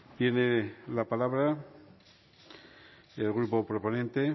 tiene la palabra el grupo proponente el